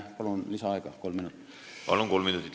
Palun, kolm minutit lisaaega!